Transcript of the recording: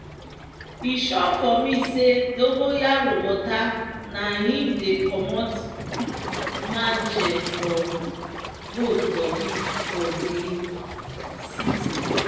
e sure for me say dongonyaro water na im dey commot mange for goat bodi for dey seasin.